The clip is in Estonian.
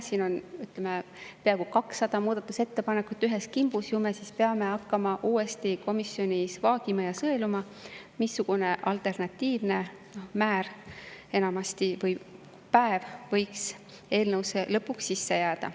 Siin on peaaegu 200 muudatusettepanekut ühes kimbus, ju me siis peame hakkama uuesti komisjonis vaagima ja sõeluma, missugune alternatiivne määr või päev võiks eelnõusse lõpuks jääda.